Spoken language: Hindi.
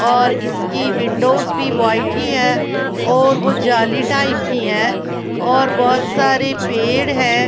और इसकी विंडोज भी वाइट ही है और वो जाली टाइप की है और बहुत सारे पेड़ है ।